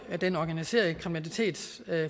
den organiserede kriminalitets